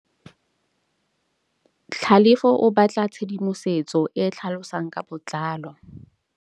Tlhalefô o batla tshedimosetsô e e tlhalosang ka botlalô.